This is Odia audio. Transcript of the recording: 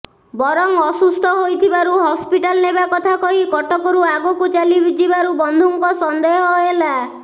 ବରଂ ଅସୁସ୍ଥ ହୋଇଥିବାରୁ ହସ୍ପିଟାଲ ନେବା କଥା କହି କଟକରୁ ଆଗକୁ ଚାଲିଯିବାରୁ ବନ୍ଧୁଙ୍କ ସନ୍ଦେହ ହେଲା